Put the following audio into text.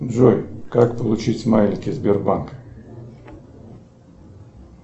джой как получить смайлики сбербанка